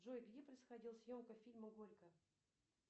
джой где происходила съемка фильма горько